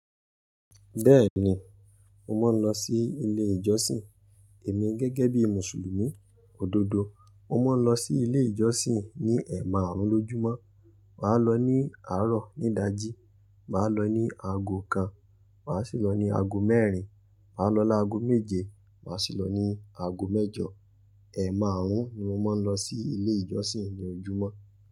Bẹ́ẹ̀ni, mo máa ń lọ sí ilé ìjọsìn. Èmi gẹ́gẹ́ bí Mùsùlùmí, òdodo. Mo máa ń lọ sí ilé ìjọsìn ní ẹ̀maàrún lójúmọ́. Màá lọ ní àárọ̀ ní ìdájí, màá lọ ní ago kan, màá sì lọ ní ago mẹ́rin, màá lọ láago méje, màá sì lọ ní ago mẹ́jọ. Ẹ̀maàrún ni mo máa ń lọ sí ilé ìjọsìn ní ojúmọ́